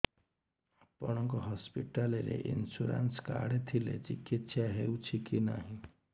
ଆପଣଙ୍କ ହସ୍ପିଟାଲ ରେ insurance card ଥିଲେ ଚିକିତ୍ସା ହେଉଛି କି ନାଇଁ